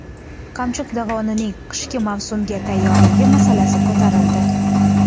Qamchiq dovonining qishki mavsumga tayyorligi masalasi ko‘tarildi.